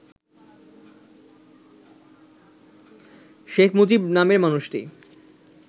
শেখ মুজিব নামের মানুষটি